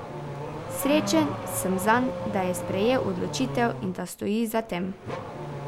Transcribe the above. Srečen sem zanj, da je sprejel odločitev in da stoji za tem.